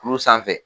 Kuru sanfɛ